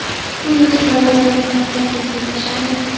Shu yo‘sinda vaziyat battar keskinlashadi.